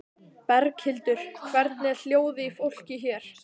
Berghildur: Hvernig er hljóðið í fólki hér?